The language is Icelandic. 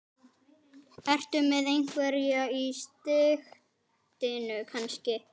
Ertu með einhverja í sigtinu kannski?